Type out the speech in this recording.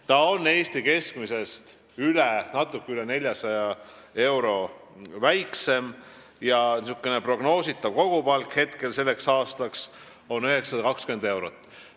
See on Eesti keskmisest natuke üle 400 euro väiksem ja prognoositav kogupalk selleks aastaks on 920 eurot.